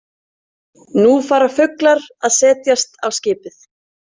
Nú fara fuglar að setjast á skipið.